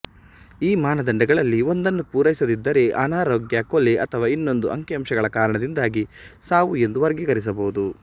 ಈ ಮಾನದಂಡಗಳಲ್ಲಿ ಒಂದನ್ನು ಪೂರೈಸದಿದ್ದರೆ ಅನಾರೋಗ್ಯ ಕೊಲೆ ಅಥವಾ ಇನ್ನೊಂದು ಅಂಕಿಅಂಶಗಳ ಕಾರಣದಿಂದಾಗಿ ಸಾವು ಎಂದು ವರ್ಗೀಕರಿಸಬಹುದು